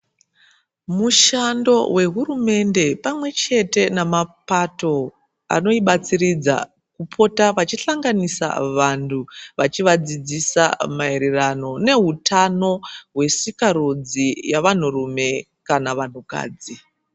Mushando wehurumende pamwechete nemapato anoibatsiridza kupota vachihlanganisa vantu vachiadzidzisa maererano neutano hwesikarudzi yevanturume kana vantukadzi.